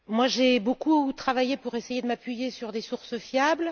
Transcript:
J'ai beaucoup travaillé pour essayer de m'appuyer sur des sources fiables.